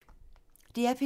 DR P3